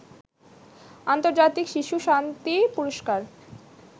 আন্তর্জাতিক শিশু শান্তি পুরস্কার